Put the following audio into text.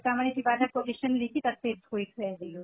এটা মানে কিবা এটা quotation লিখি তাত paste কৰি থৈ আহিলো।